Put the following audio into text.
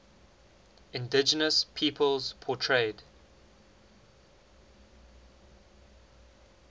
indigenous peoples portrayed